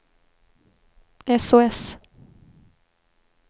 sos